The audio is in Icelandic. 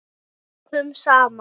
Vikum saman.